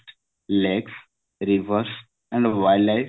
lake rivers and wildlife